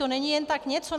To není jen tak něco!